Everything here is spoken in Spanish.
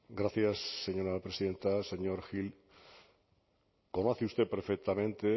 gracias señora presidenta señor gil conoce usted perfectamente